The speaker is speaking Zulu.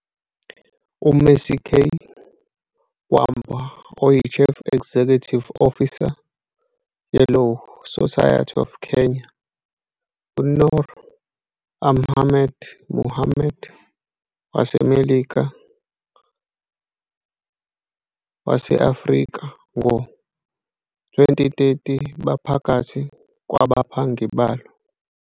UMercy K. Wambua oyi-Chief Executive Officer ye-Law Society of Kenya, u-Noor Ahmed Mohamed waseMelika wase-Afrika ngo-2030 baphakathi kwabaphangi balo.